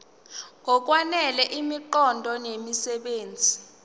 ngokwanele imiqondo nemisebenzi